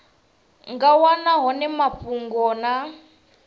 nga wana hone mafhungo na